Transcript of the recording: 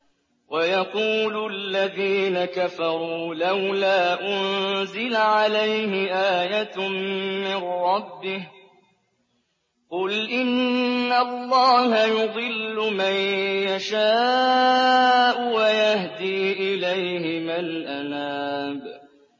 وَيَقُولُ الَّذِينَ كَفَرُوا لَوْلَا أُنزِلَ عَلَيْهِ آيَةٌ مِّن رَّبِّهِ ۗ قُلْ إِنَّ اللَّهَ يُضِلُّ مَن يَشَاءُ وَيَهْدِي إِلَيْهِ مَنْ أَنَابَ